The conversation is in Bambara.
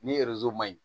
Ni ma ɲi